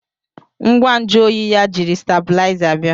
ngwa nju oyi ya jiri stábịlịzá bia